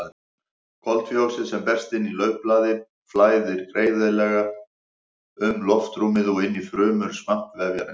Koltvíoxíð sem berst inn í laufblaði flæðir greiðlega um loftrúmið og inn í frumur svampvefjarins.